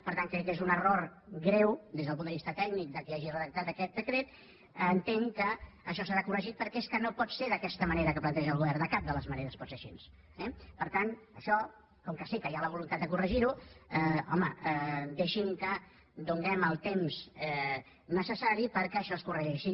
per tant crec que és un error greu des del punt de vista tècnic de qui hagi redactat aquest decret entenc que això serà corregit perquè és que no pot ser d’aquesta manera que planteja el govern de cap de les maneres pot ser així eh per tant això com que sé que hi ha la voluntat de corregir ho home deixin que donem el temps necessari perquè això es corregeixi